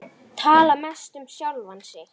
Tala mest um sjálfan sig.